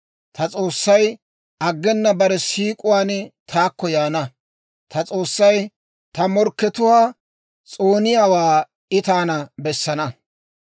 Ta S'oossay aggena bare siik'uwaan taakko yaana; ta S'oossay ta morkkatuwaa s'ooniyaawaa I taana bessana.